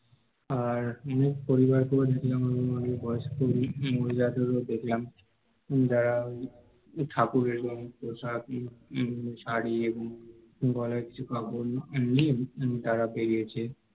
আর অনেক পরিবারকে ও দেখলাম আমি অনেক বয়স্ক মহিলাদের ও দেখলাম যারা ঠাকুরের জন্য প্রসাদ এবং শাড়ি এবং পরার কিছু কাপড় নিয়ে তারা বেরিয়েছে